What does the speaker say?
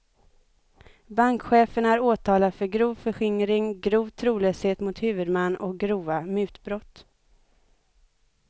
Bankchefen är åtalad för grov förskingring, grov trolöshet mot huvudman och grova mutbrott.